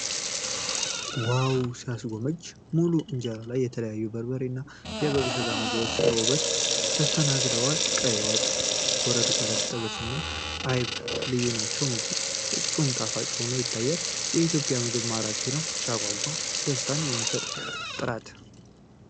ዋው ሲያስጎመጅ! ሙሉ እንጀራ ላይ የተለያዩ የበሬ እና የበግ ስጋ ምግቦች በውበት ተሰናድተዋል። ቀይ ወጥ፣ ጎረድ ጎረድ፣ ጥብስና አይብ ልዩ ናቸው። ምግቡ ፍፁም ጣፋጭ ሆኖ ይታያል። የኢትዮጵያ ምግብ ማራኪ ነው! ሲያጓጓ! ደስታን የሚሰጥ ጥራት!